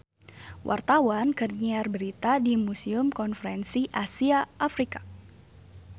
Wartawan keur nyiar berita di Museum Konferensi Asia Afrika